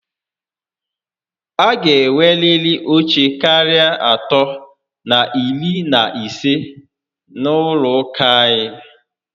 A gá enweriri oche karịa atọ na iri na ise n'ụlọ ụka anyị